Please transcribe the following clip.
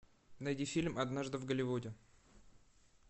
найди фильм однажды в голливуде